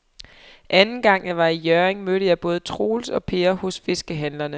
Anden gang jeg var i Hjørring, mødte jeg både Troels og Per hos fiskehandlerne.